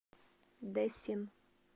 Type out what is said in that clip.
дэсин